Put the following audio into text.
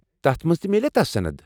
تتھ منز تہِ میٛلیا تس صند ؟